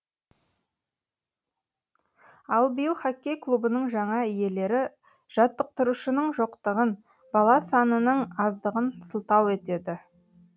ал биыл хоккей клубының жаңа иелері жаттықтырушының жоқтығын бала санының аздығын сылтау етеді